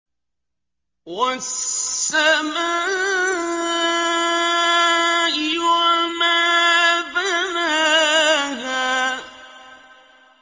وَالسَّمَاءِ وَمَا بَنَاهَا